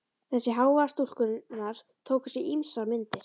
Þessi hávaði stúlkunnar tók á sig ýmsar myndir.